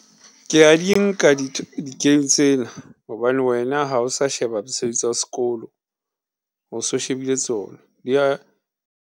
Ke a di nka di game tsena hobane wena ha o sa sheba mosebetsi wa s'kolo, o so shebile tsona .